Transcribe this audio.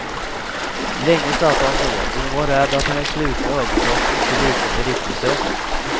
Länge satt han så och hon var rädd att hennes slutna ögonlock inte liknade riktig sömn.